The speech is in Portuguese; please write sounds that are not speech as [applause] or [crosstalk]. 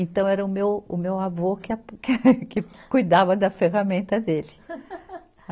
Então era o meu, o meu avô que a, que cuidava da ferramenta dele. [laughs]